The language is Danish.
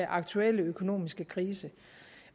aktuelle økonomiske krise